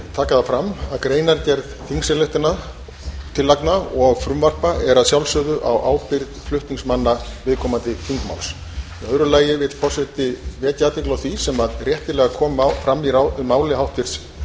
taka fram að greinargerð þingsályktunartillagna og frumvarp er að sjálfsögðu á ábyrgð flutningsmanna viðkomandi þingmáls í öðru lagi vill forseti vekja athygli á því sem réttilega kom fram í máli háttvirts